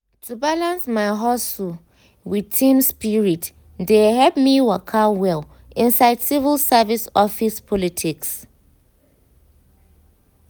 to balance my hustle with team spirit dey help me waka well inside civil service office politics.